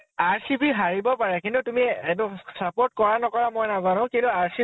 RCB হাৰিব পাৰে কিন্তু তুমি এ এইটো support কৰা নকৰা মই নাজানো । কিন্তু RCB